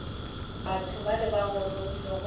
batho bale ba gorogile go